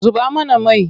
Zuba mana mai!